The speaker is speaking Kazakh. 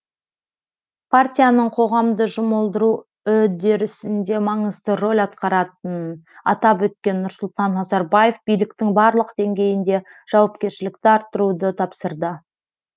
партияның қоғамды жұмылдыру үдерісінде маңызды рөл атқаратынын атап өткен нұрсұлтан назарбаев биліктің барлық деңгейінде жауапкершілікті арттыруды тапсырды